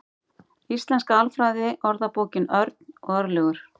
Íslenska alfræðiorðabókin. Örn og Örlygur.